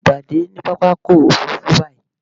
Bámi pàdé ní pápákọ̀ òfurufú báyí!